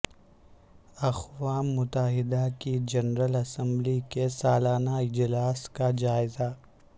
اقوام متحدہ کی جنرل اسمبلی کے سالانہ اجلاس کا جائزہ